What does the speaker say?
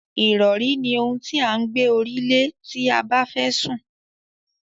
Ìrọ̀rí ni ohun tí à ń gbé orí lé tí a bẹ́fẹ́ sùn.